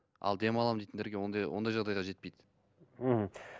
ал демаламын дейтіндерге ондай ондай жағдайға жетпейді мхм